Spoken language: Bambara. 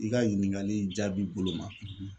I ka ɲininkali in jaabi bolo ma